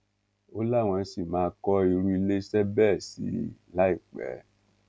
ó láwọn ṣì máa kọ irú iléeṣẹ bẹẹ sí i láìpẹ